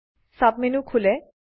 sub menu খোলে